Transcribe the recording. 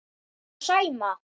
Og Sæma.